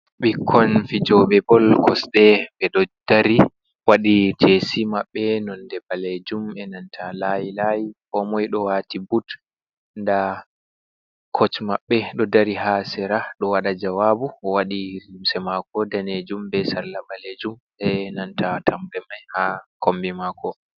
Ɓikkon fijoɓe bol kosɗe ɓeɗo dari waɗi jesi maɓɓe nonde ɓalejum be nanta layi layi ko moi ɗo wati but nda koc maɓɓe ɗo dari ha sera ɗo waɗa jawabu waɗi limse mako danejum be salla ɓalejum ɓe nanta tamɓe mai ha kombi mako.